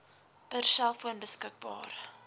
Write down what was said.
per selfoon beskikbaar